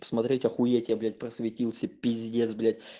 смотреть охуеть я блять просветился пиздец блять